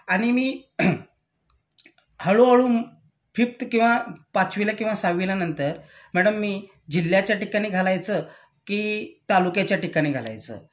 आणि मी हळू हळू फीफत्त किंवा पाचवीला किंवा सहावीला नंतर मॅडम मी जिल्ह्याच्या ठिकाणी घालायचं कि तालुक्याच्या ठिकाणी घालायचं